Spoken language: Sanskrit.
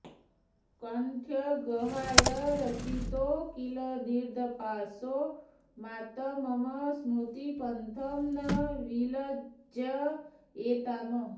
कण्ठग्रहाय रचितौ किल दीर्घपाशौ मातर्मम स्मृतिपथं न विलज्जयेताम्